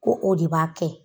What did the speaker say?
Ko o de b'a kɛ